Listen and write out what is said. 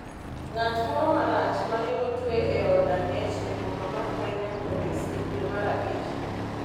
ng’at moro ma Rachar ma ne otwe e od ang’ech e boma mar Minneapolis e dwe mar Abich.